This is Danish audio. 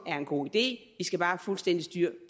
er en god idé vi skal bare have fuldstændig styr